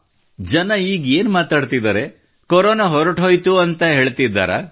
ಜನರು ಈಗ ಏನು ಮಾತನಾಡುತ್ತಿದ್ದಾರೆ ಕೊರೊನಾ ಹೊರಟು ಹೋಯಿತು ಎಂದೆನ್ನುತ್ತಿದ್ದಾರೆಯೇ